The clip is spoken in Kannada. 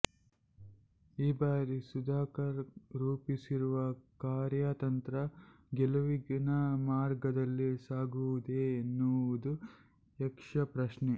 ಈ ಬಾರಿ ಸುಧಾಕರ್ ರೂಪಿಸಿರುವ ಕಾರ್ಯತಂತ್ರ ಗೆಲುವಿನ ಮಾರ್ಗದಲ್ಲಿ ಸಾಗುವುದೇ ಎನ್ನುವುದು ಯಕ್ಷಪ್ರಶ್ನೆ